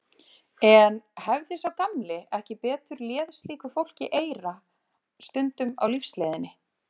En hefði sá gamli ekki betur léð slíku fólki eyra stundum á lífsleiðinni?